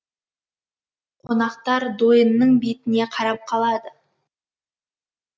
қонақтар дойынның бетіне қарап қалады